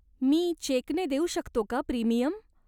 मी चेकने देऊ शकतो का प्रीमियम?